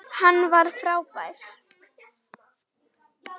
Hann var frábær.